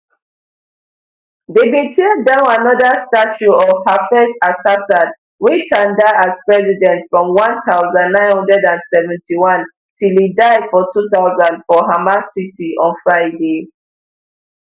dem bin tear down anoda statue of hafez asassad wey tanda as president from one thousand, nine hundred and seventy-one till e die for two thousand for hama city on friday